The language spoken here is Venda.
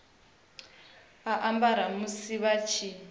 a ambara musi vha tshi